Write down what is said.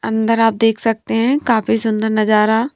अंदर आप देख सकते हैं काफी सुंदर नजारा।